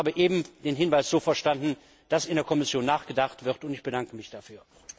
Ich habe eben den Hinweis so verstanden, dass in der Kommission nachgedacht wird, und ich bedanke mich dafür.